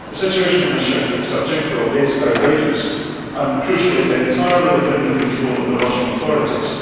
The situation of Ms Savchenko is outrageous and, crucially, entirely within the control of the Russian authorities.